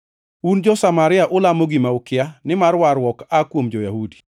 Un jo-Samaria ulamo gima ukia, nimar warruok aa kuom jo-Yahudi.